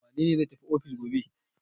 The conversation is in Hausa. Wane ne zai tafi ofis gobe?